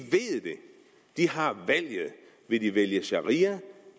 har valget vil de vælge sharia